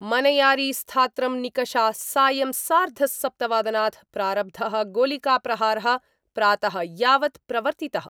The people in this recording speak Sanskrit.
मनयारी स्थात्रं निकषा सायं सार्धसप्तवादनात् प्रारब्ध: गोलिका प्रहारः प्रात: यावत् प्रवर्तितः।